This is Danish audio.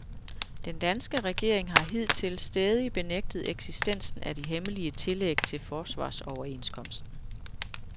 Den danske regering har hidtil stædigt benægtet eksistensen af de hemmelige tillæg til forsvarsoverenskomsten.